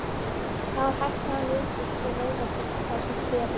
Þá er hætta á liðagigt og vöðvagigt, ásamt kvefi.